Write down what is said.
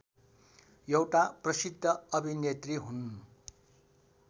एउटा प्रसिद्ध अभिनेत्री हुन्